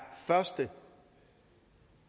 første